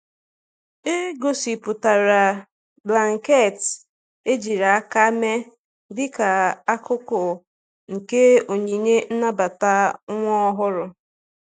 E gosipụtara blanketị ejiri aka mee dịka akụkụ nke onyinye nnabata nwa ọhụrụ.